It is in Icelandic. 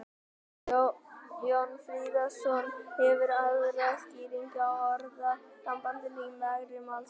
jón friðjónsson hefur aðra skýringu á orðasambandinu í mergi málsins